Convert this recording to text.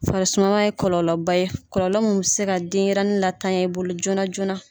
Farisumaya ye kɔlɔlɔba ye, kɔlɔlɔ mun bɛ se ka denyɛrɛnin la tanya i bolo joona joona.